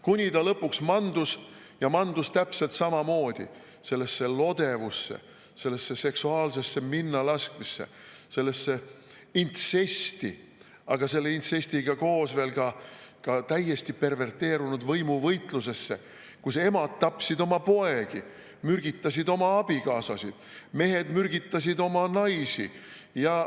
Kuni ta lõpuks mandus ja mandus täpselt samamoodi sellesse lodevusse, sellesse seksuaalsesse minnalaskmisse, sellesse intsesti, aga selle intsestiga koos veel ka täiesti perverteerunud võimuvõitlusesse, kui emad tapsid oma poegi, mürgitasid oma abikaasasid, mehed mürgitasid oma naisi.